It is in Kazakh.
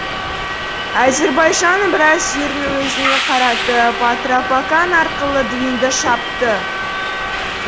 әзербайжанның біраз жерін өзіне қаратып атрапакан арқылы двинды шапты